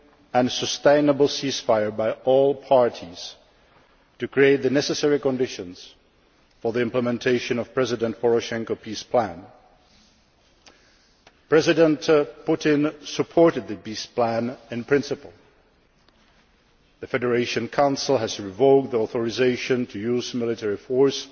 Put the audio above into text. and sustainable cease fire in order to create the necessary conditions for the implementation of President Poroshenko's peace plan. President Putin supported the peace plan in principle the Federation Council has revoked the authorisation to use military